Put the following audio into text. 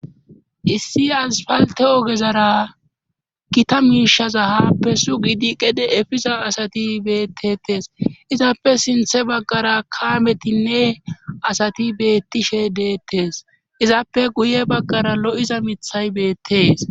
Issi asfalte ogezara gita miishaza haappe su gidi qede efisa asati beettetes izappe sinthe baggara kaametinne asati beettishe deettes izappe guye baggara lo7iza mithay beettees.